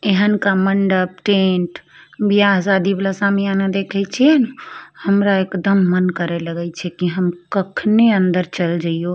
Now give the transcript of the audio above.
इहन का मंडप टेंट बिहा-शादी वला सामियाना देखे छियेन हमरा एकदम मन करे लगै छे हम कखनी अंदर चल जइयो।